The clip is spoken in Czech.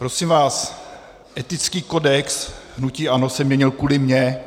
Prosím vás, etický kodex hnutí ANO se měnil kvůli mně.